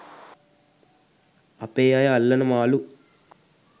අපේ අය අල්ලන මාළු